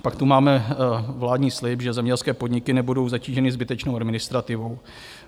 Pak tu máme vládní slib, že zemědělské podniky nebudou zatíženy zbytečnou administrativou.